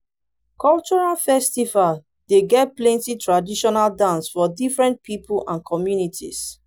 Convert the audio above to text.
cultural festival dey get plenty traditional dance for different pipo and communities